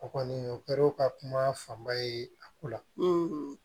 O kɔni o kɛra o ka kuma fanba ye a ko la